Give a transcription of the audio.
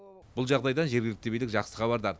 бұл жағдайдан жергілікті билік жақсы хабардар